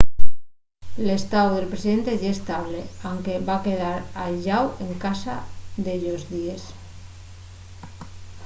l’estáu del presidente ye estable anque va quedar aislláu en casa dellos díes